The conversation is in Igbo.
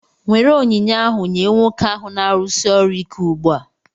Nwere onyinye ahu nye nwoke ahụ na-arụsi ọrụ ike ugbua!